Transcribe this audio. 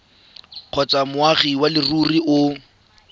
kgotsa moagi wa leruri o